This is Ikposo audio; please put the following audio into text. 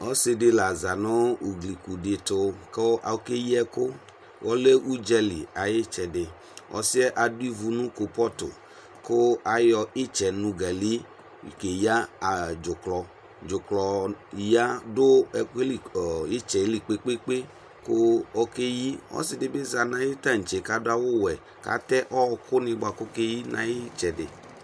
Ɔsidi la zanʋ ugliku ditu Kʋ okeyi ɛkʋ Ɔlɛ udzali ayitsɛdiƆsiyɛ adʋ ivu nʋ klupɔtuKʋ ayɔ itsɛ nugali keya ɔɔ dzuklɔ, dzuklɔ ya dʋ ɛkuɛ li kɔɔ, itsɛ li kpekpekpeKʋ okeyi Ɔsidibi zanʋ ayiʋ taŋtse kadʋ awu wɛKatɛ ɔɔkʋ ni buakʋ okeyi nayitsɛdi